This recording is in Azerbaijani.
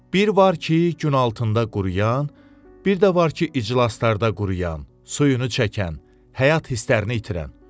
Bir var ki, gün altında quruyan, bir də var ki, iclaslarda quruyan, suyunu çəkən, həyat hisslərini itirən.